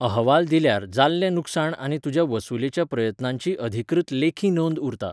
अहवाल दिल्यार जाल्लें लुकसाण आनी तुज्या वसुलेच्या प्रयत्नांची अधिकृत लेखी नोंद उरता.